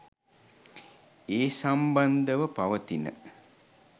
ඒ සම්බන්ධව පවතින